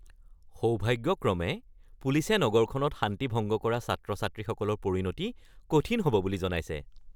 সৌভাগ্যক্ৰমে, পুলিচে নগৰখনত শান্তি ভংগ কৰা ছাত্ৰ-ছাত্ৰীসকলৰ পৰিণতি কঠিন হ'ব বুলি জনাইছে।